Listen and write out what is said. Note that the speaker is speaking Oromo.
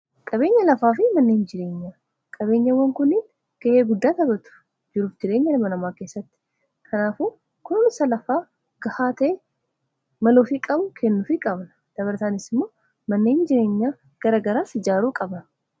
qabeenya lafaa fi manneehin jireenyaa qabeenyawwan kuniin gahee guddaatabatuf jiruuf jireenya lama namaa keessatti kanaafu kunumsa lafaa gahaate maloo fi qabu kennu fi qabna dabartaanis immoo manneehin jireenyaa garagaraas ijaaruu qabna